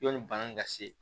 Yanni bana in ka se